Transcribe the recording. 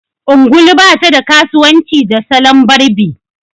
ungulu ba ta da kasuwanci da salon barbi